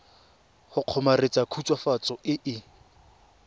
go kgomaretsa khutswafatso e e